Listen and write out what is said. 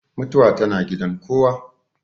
Mutuwa tana gidan kowa.